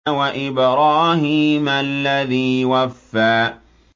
وَإِبْرَاهِيمَ الَّذِي وَفَّىٰ